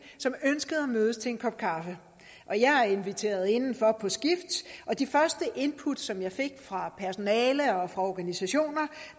som ønskede at mødes til en kop kaffe og jeg inviterede inden for på skift og de første input som jeg fik fra personale og organisationer